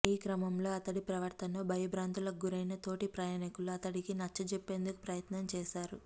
ఈ క్రమంలో అతడి ప్రవర్తనతో భయబ్రాంతులకు గురైన తోటి ప్రయాణికులు అతడికి నచ్చజెప్పేందుకు ప్రయత్నం చేశారు